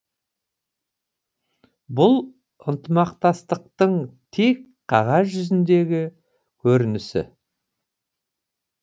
бұл ынтымақтастықтың тек қағаз жүзіндегі көрінісі